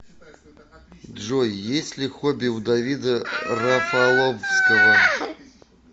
джой есть ли хобби у давида рафаловского